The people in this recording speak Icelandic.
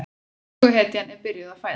Söguhetjan er byrjuð að fæðast.